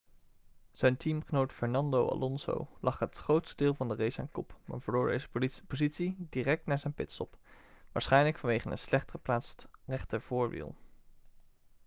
zijn teamgenoot fernando alonso lag het grootste deel van de race aan kop maar verloor deze positie direct na zijn pitstop waarschijnlijk vanwege een slecht geplaatst rechtervoorwiel